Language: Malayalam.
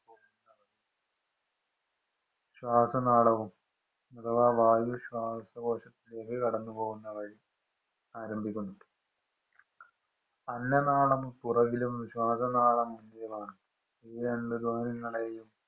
ശ്വാസനാളവും, അഥവാ വായു ശ്വാസകോശത്തിലേക്ക് കടന്നു പോകുന്ന വഴി ആരംഭിക്കുന്നു. അന്നനാളം പുറകിലും, ശ്വാസനാളം ലുമാണ്. ഈ രണ്ടു ദ്വാരങ്ങളെയും